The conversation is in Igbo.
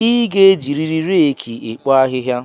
I ga-ejiriri reeki ekpo ahịhịa